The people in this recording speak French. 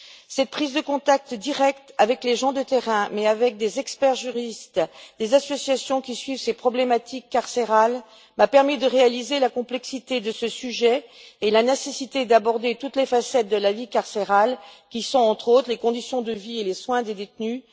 Cette prise de contact directe avec les gens de terrain, mais aussi avec des experts juristes et des associations qui suivent ces problématiques carcérales, m'a permis de réaliser la complexité de ce sujet et la nécessité d'aborder toutes les facettes de la vie carcérale, à savoir notamment les conditions de vie et les soins des détenus